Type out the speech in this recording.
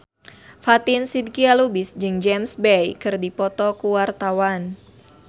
Fatin Shidqia Lubis jeung James Bay keur dipoto ku wartawan